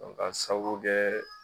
k'a sabu kɛ